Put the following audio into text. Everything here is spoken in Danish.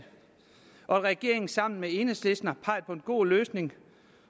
regeringen sammen med enhedslisten har peget på en god løsning